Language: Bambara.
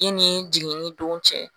I ni jigini don cɛ